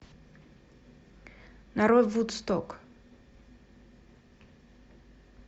нарой вудсток